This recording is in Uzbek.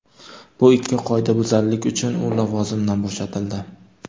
Bu ikki qoidabuzarlik uchun u lavozimidan bo‘shatildi”.